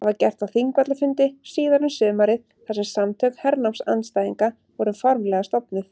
Það var gert á Þingvallafundi síðar um sumarið þar sem Samtök hernámsandstæðinga voru formlega stofnuð.